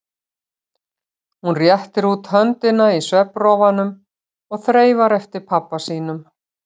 Hún réttir út höndina í svefnrofunum og þreifar eftir pabba sínum.